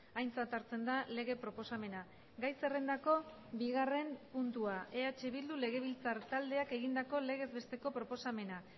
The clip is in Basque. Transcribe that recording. aintzat hartzen da lege proposamena gai zerrendako bigarren puntua eh bildu legebiltzar taldeak egindako legez besteko proposamena